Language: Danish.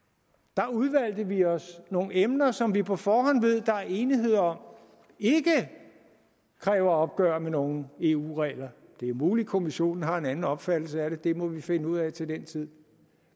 der udvalgte vi os nogle emner som vi på forhånd ved der er enighed om ikke kræver opgør med nogen eu regler det er muligt kommissionen har en anden opfattelse af det det må vi finde ud af til den tid